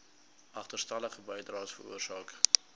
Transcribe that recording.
agterstallige bydraes veroorsaak